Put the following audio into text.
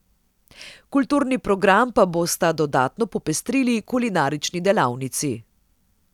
Kulturni program pa bosta dodatno popestrili kulinarični delavnici.